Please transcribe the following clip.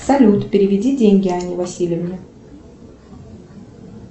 салют переведи деньги анне васильевне